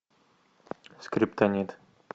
скриптонит